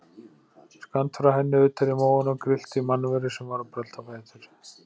Skammt frá henni, utar í móunum, grillti í mannveru sem var að brölta á fætur.